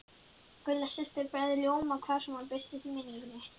Gulla systir bregður ljóma hvar sem hún birtist í minningunni.